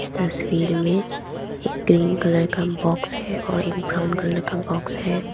तस्वीर में एक ग्रीन कलर का बॉक्स है और एक ब्राउन कलर का बॉक्स है।